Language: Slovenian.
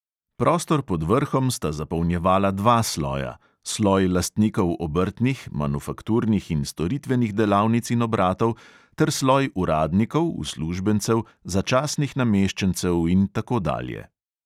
Prostor pod vrhom sta zapolnjevala dva sloja: sloj lastnikov obrtnih, manufakturnih in storitvenih delavnic in obratov ter sloj uradnikov, uslužbencev, začasnih nameščencev in tako dalje.